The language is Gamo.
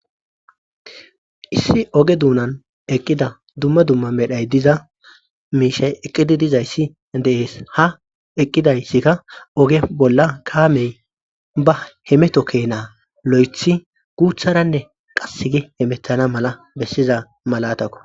issi oge duunan eqqida dumma dumma medhay diza miishay eqqidi dizayssi dees ha eqqidayssikka oge bolla kaamey ba hemeto keenaa lo7ethi guutharanne qass gi hemethana mala bessiza malatakko